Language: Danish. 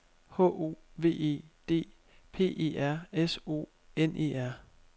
H O V E D P E R S O N E R